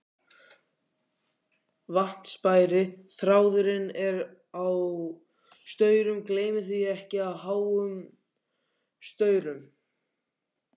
VATNSBERI: Þráðurinn er á staurum, gleymið því ekki, háum staurum.